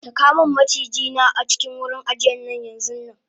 sakamun maciji na a cikin wurin ajiyan yanxunnanm